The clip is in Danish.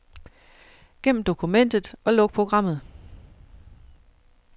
Gem dokumentet og luk programmet.